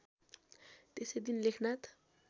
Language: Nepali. त्यसै दिन लेखनाथ